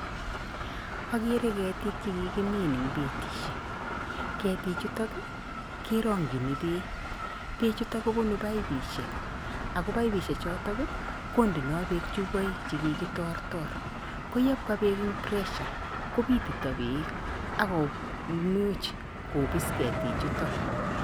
Akere ketik che kikimin ing betisiek, ketichuto kerongchini beek, beechuto kobunu paipishek ako paipishe choto kondeno beek chupoik che kikitortor, ko yepka beek eng [cspressure, kopitito beek ak komuch kobis ketichuto.